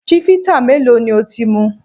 Chivita mélòó ni o ti mu?